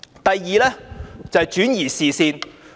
第二是轉移視線。